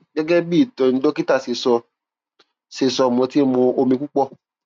gẹgẹ bí ìtọni dókítà ṣe sọ ṣe sọ mo ti ń mu omi tó pọ